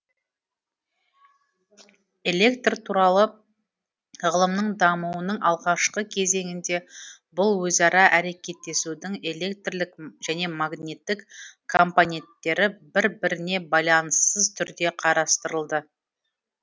электр туралы ғылымның дамуының алғашқы кезеңінде бұл өзара әрекеттесудің электрлік және магниттік компоненттері бір біріне байланыссыз түрде қарастырылды